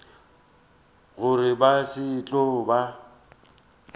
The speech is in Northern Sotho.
gore ba se tlo ba